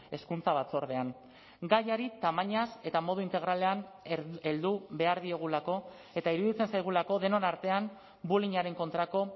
hezkuntza batzordean gaiari tamainaz eta modu integralean heldu behar diogulako eta iruditzen zaigulako denon artean bullyingaren kontrako